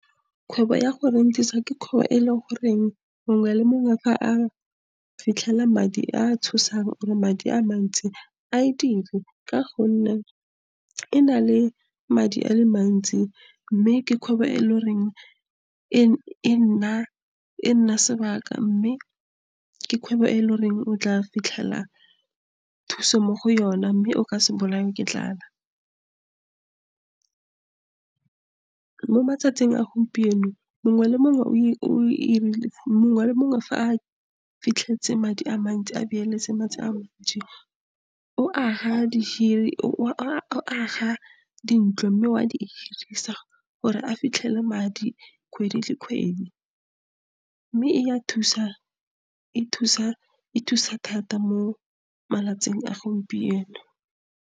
Kgwebo ya go rent-isa ke kgwebo e, e le gore mongwe le mongwe fa a fitlhela madi a tshosang or madi a mantsi a , ka gonne e na le madi a le mantsi, mme ke kgwebo e e legoreng, e nna sebaka. Mme ke kgwebo e e legoreng, o tla fitlhela thuso mo go yona, mme o ka se bolawe ke tlala. Mo matsatsing a gompieno, mongwe le mongwe , fa a fitlheletse madi a mantsi a , o aga dintlo mme wa di hirisa gore a fitlhele madi kgwedi le kgwedi. Mme e ya thusa, e thusa thata mo malatsing a gompieno.